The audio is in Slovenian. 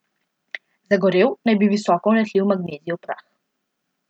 Zagorel naj bi visoko vnetljiv magnezijev prah.